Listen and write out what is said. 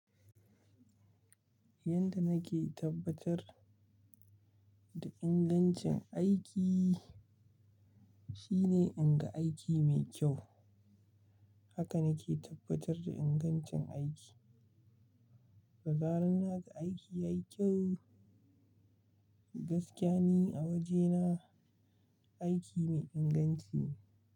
Yanda nake tabbatar da ingancin aiki shine inda aiki mai kyau haka nake tabbatar da ingancin aiki. Da zarar na ga aiki yayi kyau, gaskiya ne a wajena aiki mai inganci.